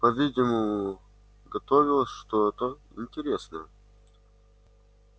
по-видимому готовилось что-то интересное